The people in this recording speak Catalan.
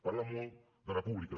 parlen molt de república